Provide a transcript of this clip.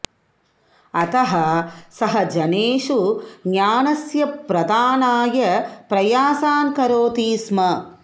अतः सः जनेषु ज्ञानस्य प्रदानाय प्रयासान् करोति स्म